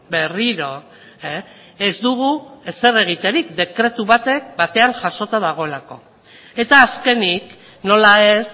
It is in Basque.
berriro ez dugu ezer egiterik dekretu batean jasota dagoelako eta azkenik nola ez